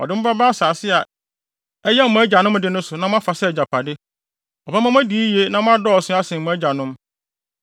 Ɔde mo bɛba asase a ɛyɛ mo agyanom de no so na moafa sɛ agyapade. Ɔbɛma mo adi yiye na moadɔɔso asen mo agyanom.